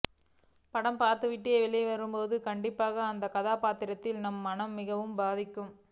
படம் பார்த்து விட்டு வெளியே வரும் போது கண்டிப்பாக அந்த கதாபாத்திரம் நம் மனதை மிகவும் பாதிக்கும்